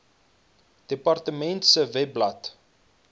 departement se webblad